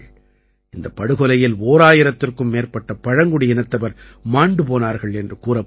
இந்தப் படுகொலையில் ஓராயிரத்திற்கும் மேற்பட்ட பழங்குடியினத்தவர் மாண்டு போனார்கள் என்று கூறப்படுகிறது